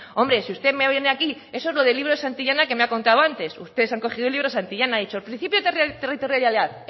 hombre si usted me viene aquí eso es lo del libro de santillana que me ha contado antes ustedes han cogido el libro de santillana y han dicho el principio territorial